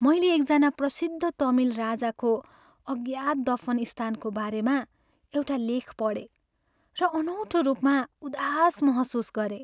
मैले एकजना प्रसिद्ध तमिल राजाको अज्ञात दफन स्थानको बारेमा एउटा लेख पढेँ र अनौठो रूपमा उदास महसुस गरेँ।